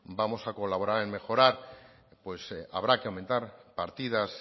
vamos a colaborar en mejorar pues habrá que aumentar partidas